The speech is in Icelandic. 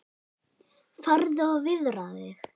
Farðu og viðraðu þig